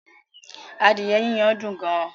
Adìẹ yiyan dùn gan